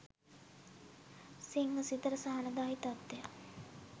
සිංහ සිතට සහනදායී තත්ත්වයක්